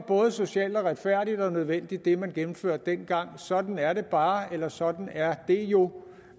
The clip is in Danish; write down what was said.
socialt retfærdigt og nødvendig det man gennemførte dengang sådan er det bare eller sådan er det jo